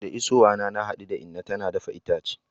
Da isowa na, na hadu da inna tana dafa itace.